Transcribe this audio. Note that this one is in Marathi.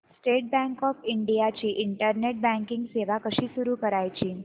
स्टेट बँक ऑफ इंडिया ची इंटरनेट बँकिंग सेवा कशी सुरू करायची